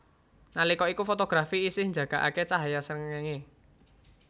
Nalika iku fotografi isih njagakake cahya srengenge